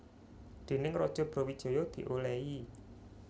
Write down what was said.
Déning Raja Brawijaya diolehi